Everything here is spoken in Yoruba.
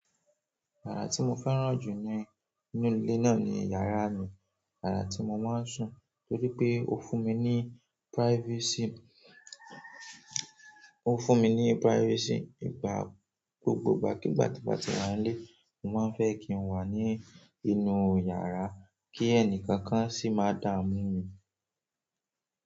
Yàrá tí mo fẹ́ràn jù ní inú ilé náà ni yàrá mi. Yàrá tí mo máa ń sùn torí pé ó fún mi ní privacy, ó fún mi ní privacy. Ìgbà gbogbo ìgbàkígbà tí mo bà nílé, mo máa ń fẹ́ kí n wà ní inú yàrá kí ẹnì kankan sì má dà mú mi.